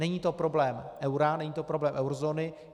Není to problém eura, není to problém eurozóny.